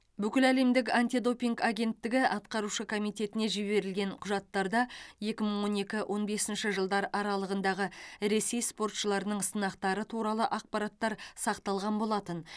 бүкіләлемдік антидопинг агенттігі атқарушы комитетіне жіберілген құжаттарда екі мың он екі он бесінші жылдар аралығындағы ресей спортшыларының сынақтары туралы ақпараттар сақталған болатын